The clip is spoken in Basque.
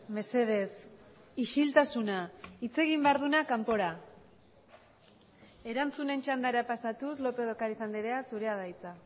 mesedez isiltasuna hitz egin behar dunak kanpora erantzunen txandara pasatuz lópez de ocariz andrea zurea da hitza